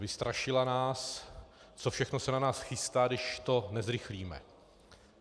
Vystrašila nás, co všechno se na nás chystá, když to nezrychlíme.